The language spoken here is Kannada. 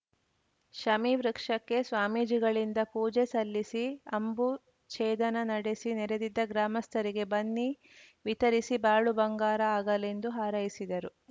ಶಮೀವೃಕ್ಷಕ್ಕೆ ಸ್ವಾಮೀಜಿಗಳಿಂದ ಪೂಜೆ ಸಲ್ಲಿಸಿ ಅಂಬು ಛೇದನ ನಡೆಸಿ ನೆರೆದಿದ್ದ ಗ್ರಾಮಸ್ಥರಿಗೆ ಬನ್ನಿ ವಿತರಿಸಿ ಬಾಳು ಬಂಗಾರ ಆಗಲೆಂದು ಹಾರೈಸಿದರು